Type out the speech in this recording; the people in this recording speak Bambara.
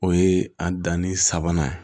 O ye a danni sabanan ye